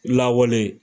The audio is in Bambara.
Lawale